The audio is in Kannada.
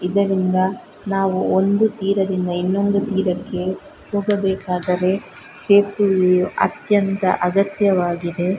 ಇದರಿಂದ ನಾವು ಒಂದು ತೀರದಿಂದ ಇನ್ನೊಂದು ತೀರಕ್ಕೆ ಹೋಗಬೇಕಾದರೆ ಸೇತುವೆಯು ಅತ್ಯಂತ ಅಗತ್ಯವಾಗಿದೆ.